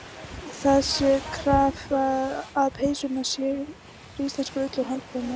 Það sé krafa að peysurnar séu úr íslenskri ull og handprjónaðar á Íslandi.